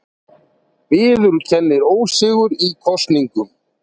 Viðurkennir ósigur í kosningunum